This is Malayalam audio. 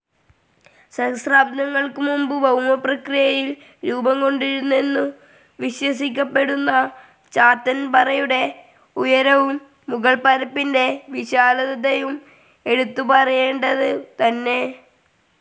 സഹസ്രാബ്ദങ്ങൾക്കുമുമ്പു ഭൗമപ്രക്രിയയിൽ രൂപംകൊണ്ടിരുന്നെന്നു വിശ്വസിക്കപ്പെടുന്ന ചാത്തൻപറയുടെ ഉയരവും മുകൾപരപ്പിൻ്റെ വിശാലതയും എടുത്തു പറയേണ്ടതുതന്നെ.